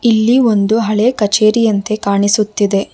ಇಲ್ಲಿ ಒಂದು ಹಳೆ ಕಚೇರಿಯಂತೆ ಕಾಣಿಸುತ್ತಿದೆ.